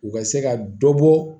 U ka se ka dɔ bɔ